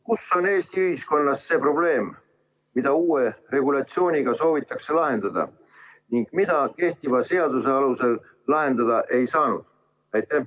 Kus on Eesti ühiskonnas see probleem, mida uue regulatsiooniga soovitakse lahendada ning mida kehtiva seaduse alusel lahendada ei saanud?